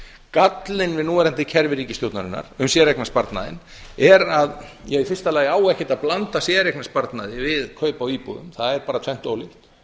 gallinn við núverandi kerfi ríkisstjórnarinnar um séreignarsparnaðinn er að í fyrsta lagi á ekkert að blanda séreignarsparnaði við kaup á íbúðum það er bara tvennt ólíkt